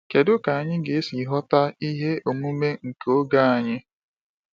Kedu ka anyị ga-esi ghọta ihe omume nke oge anyị?